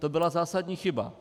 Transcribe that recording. To byla zásadní chyba.